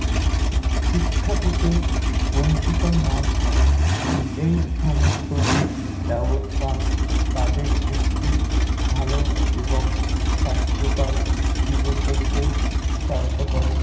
শিক্ষা থেকে বঞ্চিত না হয়। এই সমস্ত ব্যবস্থা তাদের একটি ভালো এবং স্বাস্থ্যকর জীবন গড়তে সহায়তা করার